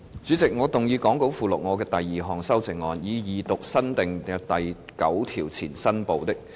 主席，我動議講稿附錄我的第二項修正案，以二讀新訂的第9條前新部的標題及新訂的第9條。